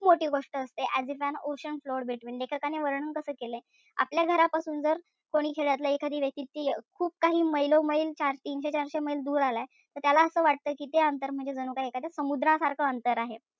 मोठी गोष्ट असते as if an ocean flowed between. लेखकाने वर्णन कस केलंय? आपल्या घरापासून जर कोणी शेजारच्या व्यक्ती खूप काही मैलोंमैल तीनशे-चारशे मैल दर आलाय. त त्याला असं वाटत कि ते अंतर म्हणजे जणू काही त्याच्यात समुद्रासारखं अंतर आहे.